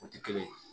O tɛ kelen ye